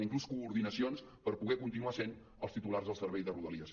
inclús coordinacions per poder continuar sent els titulars del servei de rodalies